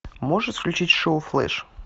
можешь включить шоу флэш